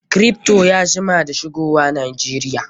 Kripto ya jima da shigo Najeriya.